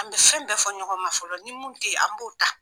An be fɛn bɛɛ fɔ ɲɔgɔn ma fɔlɔ .Ni mun te yen an b'o ta.